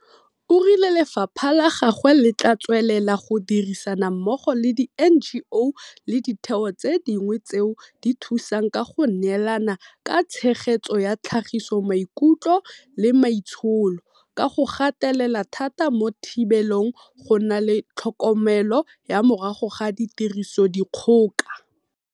O rile lefapha la gagwe le tla tswelela go dirisana mmogo le di NGO le ditheo tse dingwe tseo di thusang ka go neelana ka tshegetso ya tlhagiso maikutlo le maitsholo ka go gatelela thata mo thibelong go na le tlhokomelo ya morago ga tirisodikgoka.